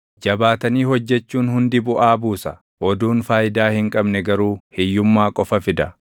Jabaatanii hojjechuun hundi buʼaa buusa; oduun faayidaa hin qabne garuu hiyyummaa qofa fida.